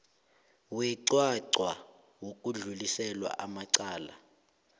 weqwaqwa wokudluliselwa kwamacala